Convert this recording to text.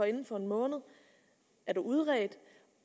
inden for en måned er udredt